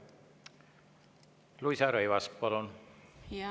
Luisa Rõivas, palun!